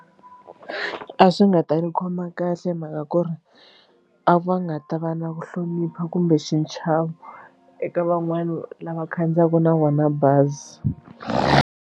A swi nga ta ni khoma kahle mhaka ku ri a va nga ta va na ku hlonipha kumbe xichavo eka van'wani lava khandziyaka na vona bazi.